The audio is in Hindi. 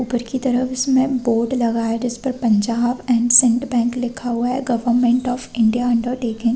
ऊपर की तरफ इसमें बोर्ड लगा है जिस पर पंजाब एंड सेंड बैंक लिखा है गवर्नमेंट ऑफ़ इंडिया अंडरटेकिंग --